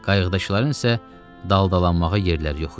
Qayıqdakıların isə daldalanmağa yerləri yox idi.